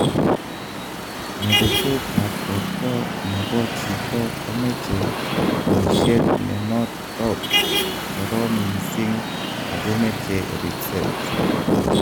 meretet ap porto nebo chito komeche poishet nenotok korom missing akomeche ripset